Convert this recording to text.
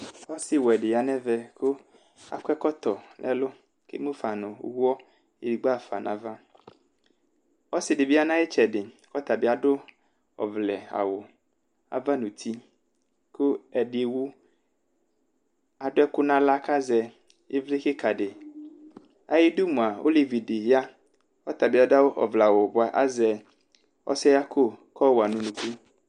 ɔsi wɛ di ya nu ɛvɛ akɔ ɛkɔtɔ nu ɛlu ku eŋu nu uwɔ edigbo yɔɣafa nu avaɔsi ɖi bi ya nu ayiu itsɛdi ku ɔtabi adu ɔvlɛ awu ava nu uti ku ɛdi ewu , adu ɛku nu aɣla kazɛ ivli kika diayiu idu mua , olevi di ya ɔtabi adu ɔvlɛ awu bua azɛ ɔsɛɣako ku atɔwa nu unuku